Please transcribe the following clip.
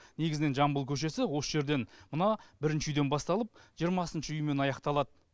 негізінен жамбыл көшесі осы жерден мына бірінші үйден басталып жиырмасыншы үймен аяқталады